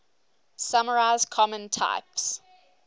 summarize common types